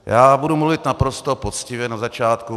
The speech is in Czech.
Já budu mluvit naprosto poctivě na začátku.